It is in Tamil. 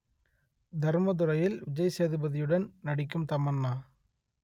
தர்மதுரையில் விஜய் சேதுபதியுடன் நடிக்கும் தமன்னா